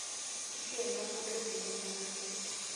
Ng'eno nkutuk tininga